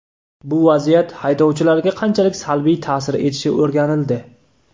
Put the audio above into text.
Bu vaziyat haydovchilarga qanchalik salbiy ta’sir etishi o‘rganildi.